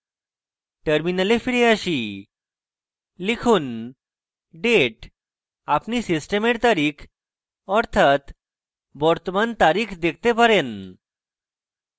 terminal ফিরে আসি লিখুন date আপনি সিস্টেমের তারিখ অর্থাৎ বর্তমান তারিখ দেখতে পারেন